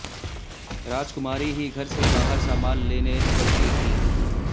राजकुमारी ही घर से बाहर सामान लेने निकलती थीं